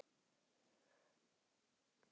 Rétt einsog þeir vilja.